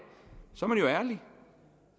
er man jo ærlig